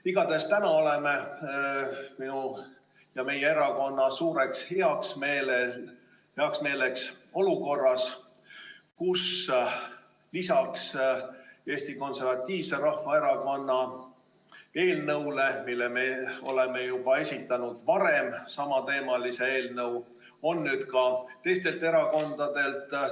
Igatahes täna oleme minu ja kogu meie erakonna suureks heameeleks olukorras, kus lisaks Eesti Konservatiivse Rahvaerakonna eelnõule, mille me oleme esitanud juba varem, on samateemalised eelnõud nüüd ka teistelt erakondadelt.